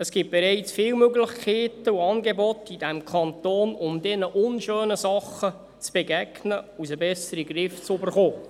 Es gibt bereits viele Möglichkeiten und Angebote in diesem Kanton, um diesen unschönen Dingen zu begegnen und sie besser in den Griff zu bekommen.